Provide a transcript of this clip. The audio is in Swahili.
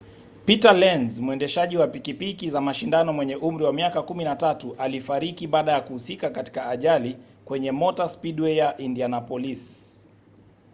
peter lenz mwendeshaji wa pikipiki za mashindano mwenye umri wa miaka 13 alifariki baada ya kuhusika katika ajali kwenye motor speedway ya indianapolis